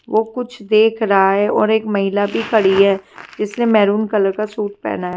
ओ कुछ देख रहा है और एक महिला भी खड़ी है जिसने मैरून कलर का सूट पहना है।